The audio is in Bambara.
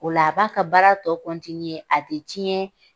O la a b'a ka baara tɔ , a te tiɲɛ